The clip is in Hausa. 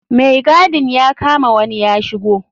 Mai gadin ya kama wani ya shigo.